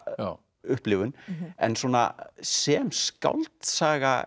upplifun en svona sem skáldsaga